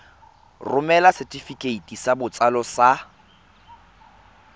romela setefikeiti sa botsalo sa